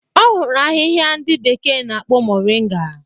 Ọ hụrụ ahịhịa ndị bekee na-akpọ Moringa.